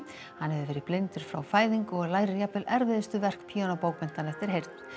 hann hefur verið blindur frá fæðingu og lærir jafnvel erfiðustu verk píanóbókmenntanna eftir heyrn